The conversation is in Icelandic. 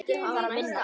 Hann þarf að vinna.